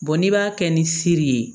n'i b'a kɛ ni seri ye